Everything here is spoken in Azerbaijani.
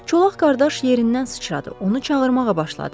Çolaq qardaş yerindən sıçradı, onu çağırmağa başladı.